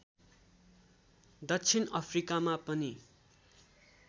दक्षिण अफ्रिकामा पनि